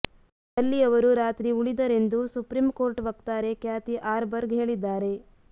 ಅಲ್ಲಿ ಅವರು ರಾತ್ರಿ ಉಳಿದರೆಂದು ಸುಪ್ರೀಂಕೋರ್ಟ್ ವಕ್ತಾರೆ ಕ್ಯಾಥಿ ಆರ್ಬರ್ಗ್ ಹೇಳಿದ್ದಾರೆ